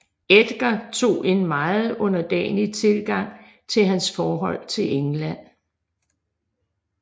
Edgar tog en meget underdanig tilgang til hans forhold til England